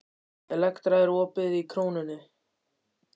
Elektra, er opið í Krónunni?